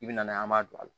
I bɛna n'a ye an b'a don a la